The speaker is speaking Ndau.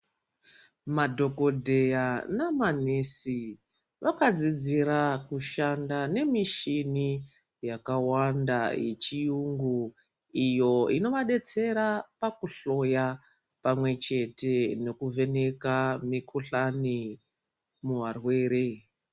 Madhokodheya namanesi vakadzidzire kushanda nemichini yakawanda yechiyungu iyo inovadetsera pakuhloya pamwe chete nekuvheneka mikohlani muvarwere.